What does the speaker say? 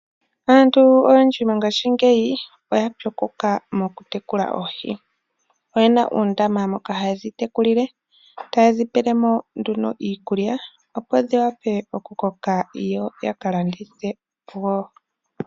Aantu oyendji mongashingeyi oya pyokoka mokutekula oohi. Oye na uundama moka haye dhi tekulile taye dhi pele mo nduno iikulya, opo dhi wape okukoka yo ya ka landithe wo.